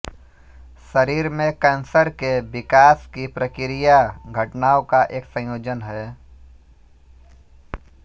शरीर में कैंसर के विकास की प्रक्रिया घटनाओं का एक संयोजन है